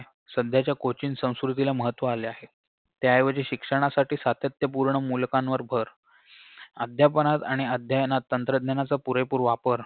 सध्याच्या coaching संस्कृतीला महत्व आले आहे त्याऐवजी शिक्षणासाठी सातत्यपूर्ण मुलकांवर भर अध्यापनात आणि अध्ययनात तंत्रज्ञानाचा पुरेपूर वापर